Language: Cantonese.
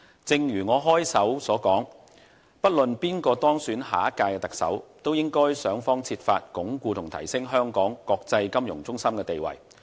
正如我開首所言，不論誰當選下屆特首，都應設法鞏固和提升香港國際金融中心的地位。